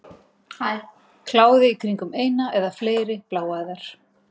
Kláði í kringum eina eða fleiri bláæðar.